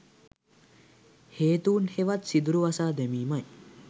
හේතූන් හෙවත් සිදුරු වසා දැමීමයි.